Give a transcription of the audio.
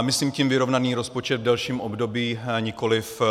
Myslím tím vyrovnaný rozpočet v delším období, nikoliv